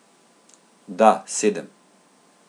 Da, sedem.